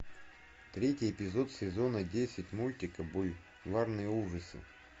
третий эпизод сезона десять мультика бульварные ужасы